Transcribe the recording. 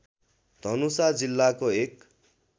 धनुषा जिल्लाको एक